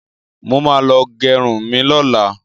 Mo ma lọ gẹrun mi lọ́la